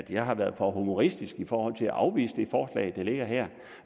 jeg har været for humoristisk i forhold til at afvise det forslag der ligger her